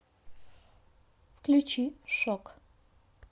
включи шок